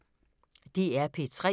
DR P3